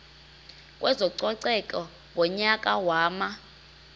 kwezococeko ngonyaka wama